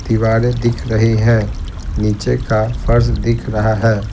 दीवारें दिख रही हैं नीचे का फर्श दिख रहा है।